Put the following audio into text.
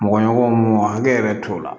Mɔgɔɲɔgɔn mun hakɛ yɛrɛ t'o la